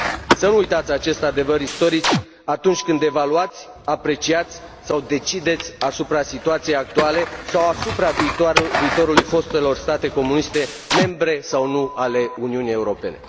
Să nu uitați acest adevăr istoric atunci când evaluați, apreciați sau decideți asupra situației actuale sau asupra viitorului fostelor state comuniste membre sau nu ale Uniunii Europene!